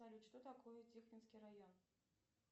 салют что такое тихвинский район